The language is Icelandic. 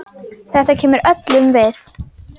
Þetta kemur öllum við.